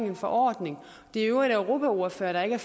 en forordning europaordførerne er